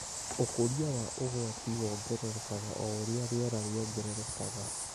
Ũkũria wa ũgwati wongererekaga o ũrĩa rĩera rĩongererekaga.